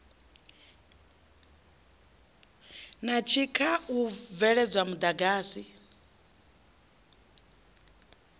na tshikha u bveledza muḓagasi